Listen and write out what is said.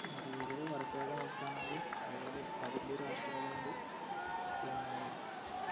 വടക്ക് കിഴക്കൻ സംസ്ഥനങ്ങളും അത്പോലെ അത് വലിയ രാഷ്ട്രായത് കൊണ്ടും പിന്നെ